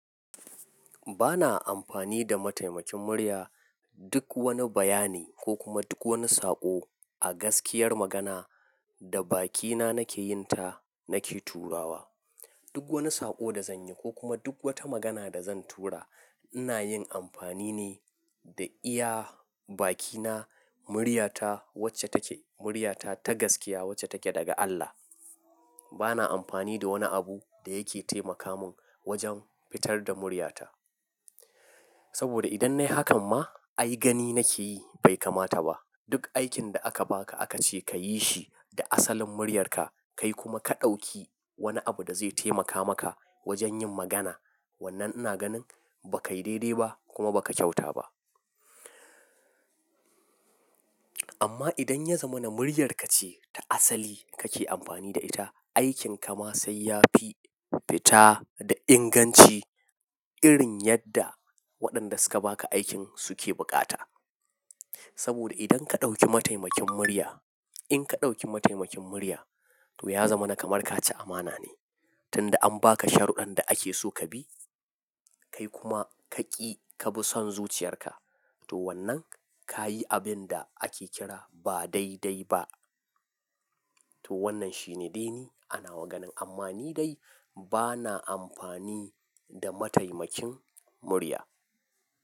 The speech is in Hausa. Bana amfani da mataimakin murya duk wani bayani ko kuma duk wani saƙo a gaskiyar magana da bakina nake yin ta nake turawa. Duk wani saƙo da zanyi ko kuma duk wata magana da zan tura inayin amfani ne da iya bakina, muryata wacce take muryata ta gaskiya wacce take daga Allah. Bana amfani da wani abu da yake taimaka mun wajen fitar da muryata. Saboda idan nayi hakan ma ai gani nake yi bai kamata ba. Duk aikin da aka baka aka ce kayi shi da asalin muryarka kai kuma ka ɗauki wani abu da zai taimaka maka wajen yin magana. Wannan ina ganin ba kai daidai ba kuma ba ka kyauta ba. Amma idan ya zama na muryarka ce ta asali kake amfani da ita, aikinka ma sai yafi fita da inganci irin yadda waɗanda suka baka aikin suke bukata. Saboda idan ka ɗauki mataimakin murya, in ka ɗauki mataimakin murya to ya zama na kamar kaci amana ne. Tunda an baka sharɗan da ake so ka bi kai kuma ka ƙi ka bi son zuciyarka to wannan ka yi abin da ake kira ba dai dai ba. To wannan shine dini ana maganan amma ni dai bana amfani da mataimakin murya.